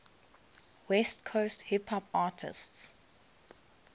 west coast hip hop artists